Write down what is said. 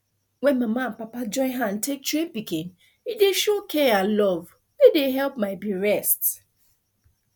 when mama and papa join hand take train pikin e dey show care and love wey dey help my be rest